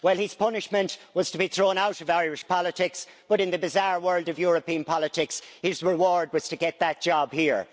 His punishment was to be thrown out of Irish politics, but in the bizarre world of European politics his reward was to get that job here.